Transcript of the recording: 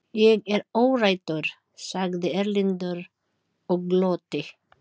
Ég er óhræddur, sagði Erlendur og glotti.